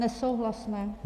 Nesouhlasné.